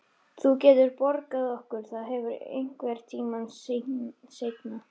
Þú getur borgað okkur það aftur einhvern tíma seinna.